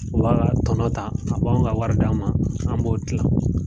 A ba ka tɔnɔ ta, a b'anw ka wari d'an ma, an b'o kilan.